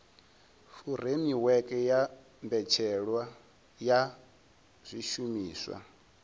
furemiweke ya mbetshelwa ya zwishumiswa